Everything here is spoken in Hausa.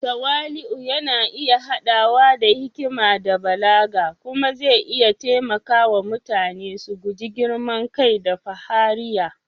Tawali’u yana iya haɗawa da hikima da balaga kuma zai iya taimaka wa mutane su guji girman kai da fahariya.